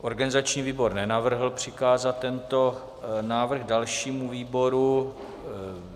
Organizační výbor nenavrhl přikázat tento návrh dalšímu výboru.